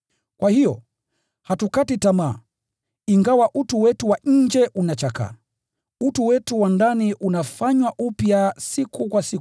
Kwa hiyo, hatukati tamaa. Ingawa utu wetu wa nje unachakaa, utu wetu wa ndani unafanywa upya siku kwa siku.